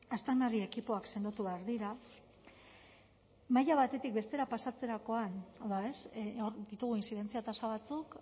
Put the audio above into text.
aztarnari ekipoak sendotu behar dira maila batetik bestera pasatzerakoan hau da hor ditugu intzidentzia tasa batzuk